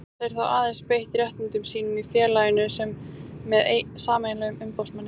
Geta þeir þá aðeins beitt réttindum sínum í félaginu með sameiginlegum umboðsmanni.